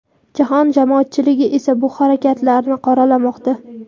Jahon jamoatchiligi esa bu harakatlarni qoralamoqda.